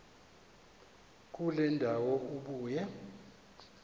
kule ndawo ubuye